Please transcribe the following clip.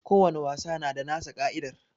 Ko wani wasa na da nasa ka'idar